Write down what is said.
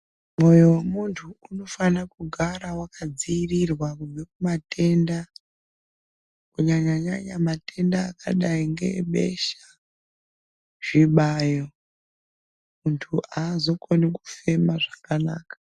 Moyo wemuntu unofanirwa kugara wakadzivirirwa kubve kumatenda kunyanya nyanya matenda akadai ngeebesha zvibayo muntu haazokoni fumema zvakanaka.